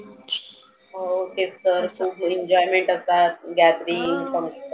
हो तेच तर खुप enjoyment असतात. gathering